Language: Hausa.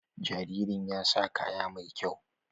Jaririn ya sa kaya mai kyau.